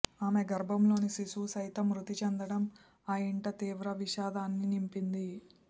ఆమె గర్భంలోని శిశువు సైతం మృతి చెందడం ఆ ఇంట తీవ్ర విషాదాన్ని నింపింది